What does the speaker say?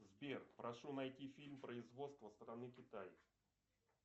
сбер прошу найти фильм производства страны китай